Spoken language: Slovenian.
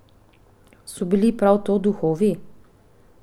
So bili prav to duhovi?